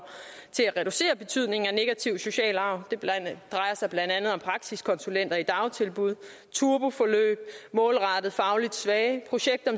til at reducere betydningen af negativ social arv det drejer sig blandt andet om praksiskonsulenter i dagtilbud turboforløb målrettet fagligt svage projekter